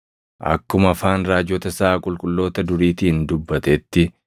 akkuma afaan raajota isaa qulqulloota duriitiin dubbatetti